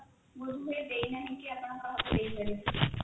ବୋଧ ହୁଏ ଦେଇନାହିଁ କି ଆପଣ କାହାକୁ ଦେଇପାରିବେ